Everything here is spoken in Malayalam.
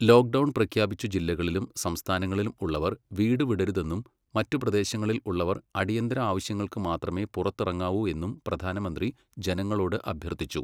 ലോക്ഡൗൺ പ്രഖ്യാപിച്ച ജില്ലകളിലും സംസ്ഥാനങ്ങളിലും ഉള്ളവർ വീടു വിടരുതെന്നും മറ്റു പ്രദേശങ്ങളിൽ ഉള്ളവർ അടിയന്തര ആവശ്യങ്ങൾക്ക് മാത്രമേ പുറത്തിറങ്ങാവൂ എന്നും പ്രധാനമന്ത്രി ജനങ്ങളോട് അഭ്യർഥിച്ചു.